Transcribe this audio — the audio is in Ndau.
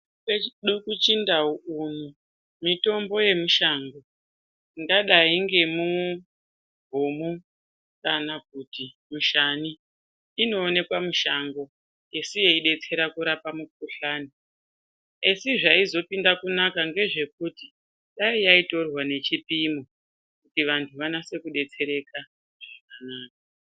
Kwedu kuchindau uno mitombo wemushango ingadai ngemubhumu kana kuti mushani inoonekwa mushango esi yeidetsera kurapa mikhuhlani, esi zvaizopinda kunaka ngezvekuti dai yaidorwa nechipomo kuti vantu vanase kudetsereka veirarama.